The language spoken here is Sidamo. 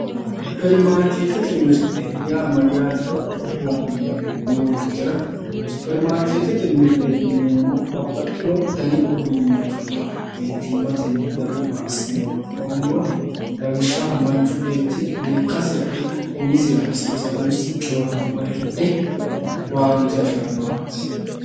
supperimaarkeetete mirte yaa mayyaatero dihuwattoommo yoottotera supperimaarkeetete mirteti yineemmohu babbaxxino dani uduunnichubba mittimmatenni gamba assine worronniwa, lawishshaho manchu beetti lekkasira ikko umisira hasisanno qiwaate mare hidhe owaante afi'rannowaati.